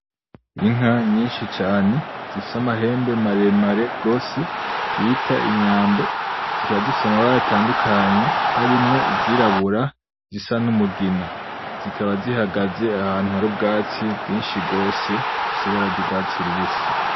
Inka nyinshi cane, zifise amahembe maremare gose, bita inyambo ,zikaba zifise amabara atandukanye harimwo izirabura zisa n'umugina. Zikaba zihagaze ahantu hari ubwatsi bwinshi rwose bufise ibara ry'uwatsi rubisi.